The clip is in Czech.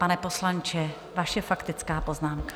Pane poslanče, vaše faktická poznámka.